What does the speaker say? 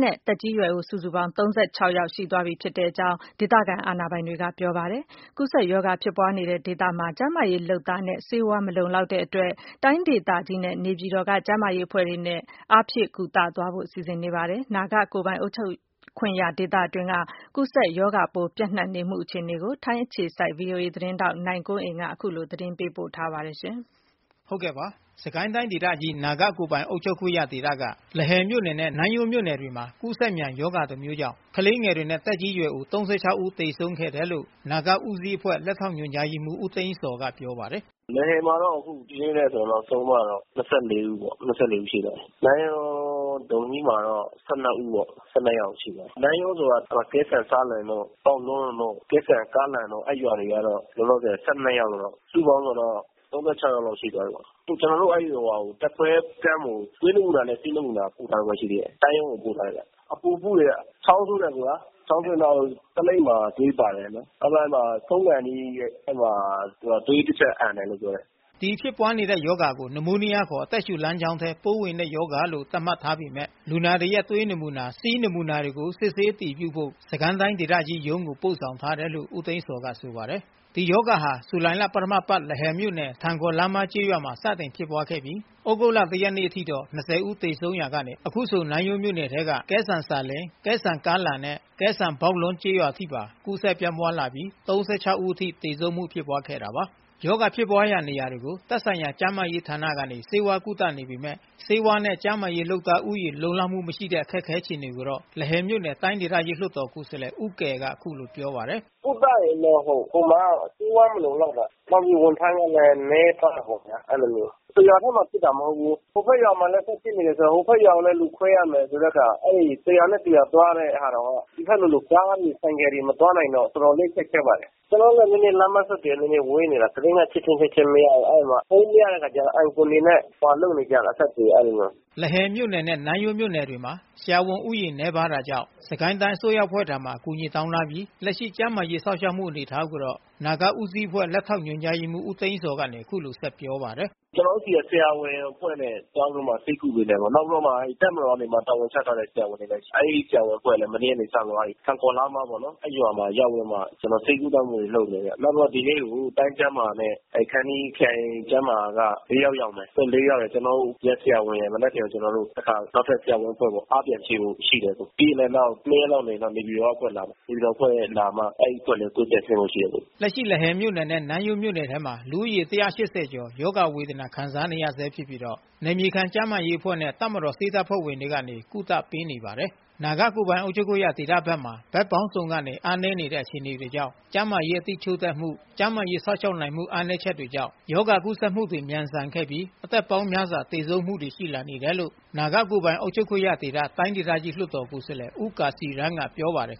နဲ့ သက်ကြီးရွယ်အို စုစုပေါင်း(၃၆) ဦးခန့် သေဆုံးမှုဖြစ်ပွါးခဲ့တယ်လို့ ဒေသခံအာဏာပိုင်တွေကပြောပါတယ်။ ကူးစက်ရောဂါဖြစ်ပွါးနေတဲ့အဲဒီဒေသမှာ ကျန်းမာရေးလုပ်သားနဲ့ ဆေးဝါး လုံလောက်မှုမရှိလို့ တိုင်းဒေသကြီး နဲ့နေပြည်တော်ကကျန်းမာရေးအဖွဲ့တွေကနေ ထပ်မံအားဖြည့် ကုသသွားဖို့စီစဉ်နေတယ် လို့လဲဆိုပါတယ်။ ဒီအခြေအနေ ကိုတော့ ထိုင်းအခြေစိုက် ဗွီအိုအေမြန်မာပိုင်းသတင်းထောက် နိုင်ကွန်းအိန်ကနေ သတင်းပေး ပို့ထားပါတယ်။ စစ်ကိုင်းတိုင်းဒေသကြီး နာဂကိုယ်ပိုင်အုပ်ချုပ်ခွင့်ရဒေသက လဟယ်မြို့နယ်နဲ့ နန်းယွန်းမြို့နယ်တွေမှာ ကူးစက်မြန်ရောဂါ တမျိုးကြောင့် ကလေးငယ်တွေနဲ့ သက်ကြီးရွယ်အို(၃၆)ဦး သေဆုံးခဲ့တယ်လို့ နာဂဦးစီးအဖွဲ့ လက်ထောက် ညွှန်ကြားရေးမှူး ဦးသိန်းဇော်ကပြောပါတယ်။ "လဟယ်မှာတော့ အခုဒီနေ့နဲ့ဆို ဆုံးသွားတာတော့ ၂၄ ဦးပေါ့။ ၂၄ ဦးရှိသွားပြီ။ နန်းယွန်း ဒုံမီးမှာတော့ ၁၂ ဦးပေါ့။ ၁၂ ယောက်ရှိသွားပြီ။ နန်းယွန်းဆိုတာ ကဲဆန်ကားလန်တို့ ဘောက်လွန်းတို့ ကဲဆန်ကားနမ်တို့ အဲရွာတွေကတော့ ၁၂ ယောက်လောက် စုစုပေါင်းဆိုတော့ ၃၆ ယောက်လောက်တော့ ရှိသွားပြီပေါ့။ ကျနော်တို့ တပ်ကွဲ ကမ့်ကို ဆေးနမူနာပို့ထားရုံပဲရှိသေးတယ်။ တိုင်းကိုပို့ထားတာဗျ။ အပူဖုတွေ၊ ချောင်းဆိုးတယ်အကိုရာ ချောင်းဆိုးတော့ သလိပ်မှာသွေး ပါတယ်။ နောက်ပိုင်းမှာ ဆုံးခါနီး သွေးတချက် အန်တယ်ပြောတယ်" ဒီဖြစ်ပွါးနေတဲ့ရောဂါကို နမိုးနီးယားခေါ် အသက်ရှူလမ်းကြောင်းထဲ ပိုးဝင်တဲ့ရောဂါလို့ သတ်မှတ်ထားပေမဲ့ လူနာတွေရဲ့ သွေး နမူနာ ဆီးနမူနာတွေကို စစ်ဆေးအတည်ပြုဖို့ စစ်ကိုင်းတိုင်းဒေသကြီးရုံးကိုပို့ဆောင်ထားတယ်လို့ ဦးသိန်းဇော်ကဆိုပါတယ်။ ဒီရောဂါဟာ ဇွန်လပထမအပါတ် လဟယ်မြို့နယ် ထန်ခေါ်လားမားကျေးရွာမှာ စတင်ဖြစ်ပွါးနေခဲ့ပြီး သြဂုတ်လ(၁) ရက်နေ့ အထိ(၂၀) ဦးသေဆုံးရာကနေ အခုဆို နန်းယွန်းမြို့နယ်ထဲက ကဲဆန်ဆာလင်၊ ကဲဆန်ကားလန်နဲ့ ကဲဆန်ဘောက်လွန်း စတဲ့ကျေးရွာတွေအထိပါ ကူးစက်ပြန့်ပွားလာပြီးတော့ (၃၆) ဦး အထိ သေဆုံးမှုဖြစ်ပွါးခဲ့တာပါ။ ရောဂါဖြစ်ပွါးရာနေရာတွေကို သက်ဆိုင်ရာ ကျန်းမာရေးဌာနတွေ ကနေ ဆေးဝါး ကုသနေပေမဲ့ ဆေးဝါးနဲ့ကျန်းမာရေးလုပ်သား ဦးရေလုံလောက်မှုမရှိတဲ့ အခက်ခဲအခြေအနေကိုတော့ လဟယ်မြို့နယ် တိုင်းဒေသကြီး လွှတ်တော်ကိုယ်စားလှယ် ဦးကယ်က အခုလိုပြောပါတယ်။ "ကုသရင်တော့ ဟိုမှာက ဆေးဝါးမလုံလောက်တာ နောက်ပြီး ဝန်ထမ်းကလည်း နည်းပါးတာပေါ့ဗျာ။ အဲဒီလိုမျိုး။ တရွာထဲမှာဖြစ်တာ မဟုတ်ဘူး။ ဟိုဖက်ရွာမှာ လည်းဖြစ်နေတယ် ဆိုတော့ ဟိုဖက်ရွာမှာလည်း လူခွဲရမယ်ဆိုတော့ တရွာနဲ့တရွာ သွားရတယ်ဆိုတော့ ဒီဖက်မှာလို ကားတွေ ဆိုင်ကယ်တွေ မသွားနိုင်တော့ တော်တော်လေး ခက်ခဲပါတယ်။ လမ်းပမ်းဆက်သွယ်ရေး ဝေးနေတာ ဘယ်လိုမှ ချက်ချင်း ချက်ချင်းမရဘူး။ အဲဒီမှာဖုန်းမရတော့ အိုင်ကွန်တွေနဲ့ လုပ်နေကြရတာ အဆက်အသွယ်အားလုံးကို" လဟယ်မြို့နယ်နဲ့ နန်းယွန်းမြို့နယ်တွေမှာ ဆရာဝန်ဦးရေနဲပါးတာကြောင့် စစ်ကိုင်းတိုင်း အစိုးရအဖွဲ့ထံ အကူအညီတောင်း ထားပြီး လက်ရှိကျန်းမာရေးစောင့်ရှောက်မှု အနေအထားကိုတော့ နာဂဦးစီးအဖွဲ့ လက်ထောက်ညွှန်ကြားရေးမှုးဦးသိန်းဇော် ကအခုလိုဆက်ပြောပါတယ်။ "ကျနော်တို့ဆီက ဆရာဝန်အဖွဲ့နဲ့ သွားပြီးတော့မှ ဆေးကုပေး တယ်ပေါ့။ နောက်ပြီးတော့ တပ်မတော်ကနေ တာဝန်ချထားတဲ့ ဆရာဝန်တွေလည်းရှိတယ်။ အဲဒီဆရာဝန်အဖွဲ့ကလည်း မနေ့ကနေပြီးတော့ ထန်ခေါ်လားမားပေါ့နော် အဲရွာမှာရောက်ပြီးတော့မှ ဆေးကုသမှုတွေ လုပ်နေတယ်။ နောက်ပြီးတော့ ဒီနေ့ကို တိုင်းကျန်းမာ နဲ့ ခမ်းတီးခရိုင်ကျန်းမာ က ၄ ယောက် ရောက်လာတယ်။ သူတို့ ၄ ယောက်ရယ် ကျနော်တို့ရဲ့ဆရာဝန်တွေရယ် မနက်ဖန်ဆိုရင် ကျနော်တို့ နောက်ထပ်ဆရာဝန်အဖွဲ့ပေါ့ အားပြန်ဖြည့်ဖို့ရှိတယ်။ ပြီးရင်လည်း ၂ ရက်လောက်နေရင်တော့ နေပြည်တော်က အဖွဲ့လာမယ်။ နေပြည်တော်ကအဖွဲ့လာမှ အဲဒီအဖွဲ့လည်းဆင်းဖို့ရှိတယ်" လက်ရှိလဟယ်မြို့နယ်နဲ့နန်းယွမ်းမြို့နယ်ထဲမှာ လူဦးရေ (၁၈၀)ကျော် ရောဂါဝေဒနာ ခံစားနေရဆဲဖြစ်ပြီး နယ်မြေခံကျန်းမာရေး အဖွဲ့နဲ့ တပ်မတော်ဆေးတပ်ဖွဲ့ဝင်တွေကနေကုသပေးနေပါတယ်။ နာဂကိုယ်ပိုင် အုပ်ချုပ်ခွင့်ရဒေသဘက်မှာ ဘက်ပေါင်းစုံကနေအားနည်းနေတဲ့ အခြေအနေကြောင့် ကျန်းမာရေးအသိချို့တဲ့မှု ကျန်းမာ ရေးစောင့်ရှောက်နိုင်မှု အားနည်းချက်တွေကြောင့် ရောဂါကူးစက်မှုတွေမြန်ဆန်ခဲ့ပြီး အသက်ပေါင်း များစွာသေဆုံးမှုတွေ ရှိလာနေတယ်လို့ နာဂကိုယ်ပိုင် အုပ်ချုပ်ခွင့်ရဒေသ တိုင်းဒေသကြီး လွှတ်တော်ကိုယ်စားလှယ်ဦးကာစီရန်းကပြောပါတယ်